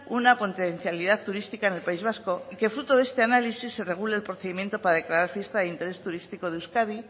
una potencialidad turística en el país vasco y que fruto de este análisis se regule el procedimiento para declarar fiesta de interés turístico de euskadi